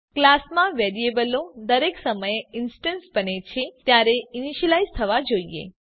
ક્લાસમાં વેરિયેબલો દરેક સમયે ઇન્સ્ટેન્સ બને છે ત્યારે ઈનીશ્યલાઈઝ થવા જોઈએ